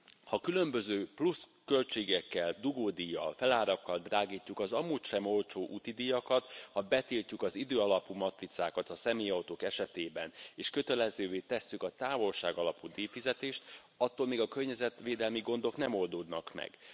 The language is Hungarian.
Ha különböző plusz költségekkel, dugódíjjal, felárakkal drágítjuk az amúgy sem olcsó úti díjakat, ha betiltjuk az időalapú matricákat a személyautók esetében és kötelezővé tesszük a távolságalapú díjfizetést, attól még a környezetvédelmi gondok nem oldódnak meg.